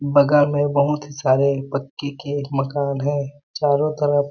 बगल में बहुत ही सारे पक्की के एक मकान है चारों तरफ--